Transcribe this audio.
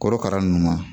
Korokara ninnu ma